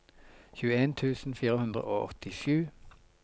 tjueen tusen fire hundre og åttisju